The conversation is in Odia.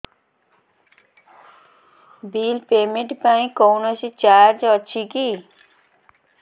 ବିଲ୍ ପେମେଣ୍ଟ ପାଇଁ କୌଣସି ଚାର୍ଜ ଅଛି କି